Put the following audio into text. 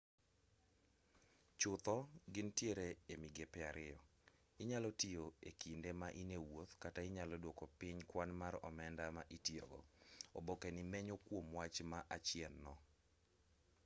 chutho gintiere e migepe ariyo inyalo tiyo e kinde ma in e wuoth kata inyalo duoko piny kwan mar omenda ma itiyo go obokeni menyo kwom wach ma achien no